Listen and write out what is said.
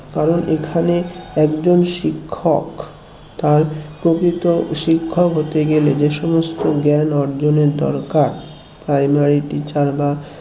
কারণ এখানে একজন শিক্ষক তার প্রকৃত শিক্ষক হতে গেলে যে সমস্ত জ্ঞান অর্জনের দরকার primary teacher বা